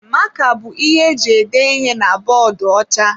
Maka bụ ihe eji ede ihe na bọọdụ ọcha